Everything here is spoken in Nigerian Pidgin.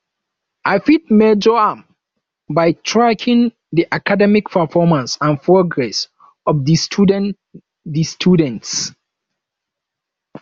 i fit measure am by tracking di academic performance and progress of di students di students